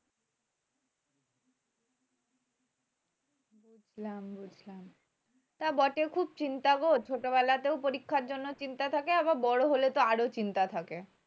বুঝলাম বুঝলাম তা বটে খুব চিন্তা গো ছোটবেলাতেও পরীক্ষার জন্য চিন্তা থাকে আবার বড় হলে তো আরও চিন্তা থাকে